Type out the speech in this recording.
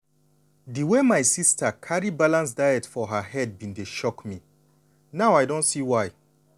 the way my sister carry balanced diets for her head bin dey shock me. now i don see why.